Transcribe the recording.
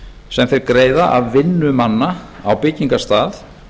sem þeir greiða af vinnu manna á byggingarstað